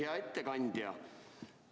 Hea ettekandja!